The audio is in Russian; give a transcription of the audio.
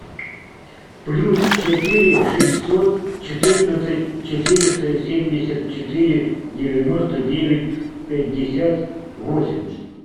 плюс четыре шестьсот четырнадцать четыреста семьдесят четыре девяносто девять пятьдесят восемь